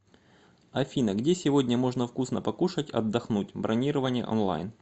афина где сегодня можно вкусно покушать отдохнуть бронирование онлайн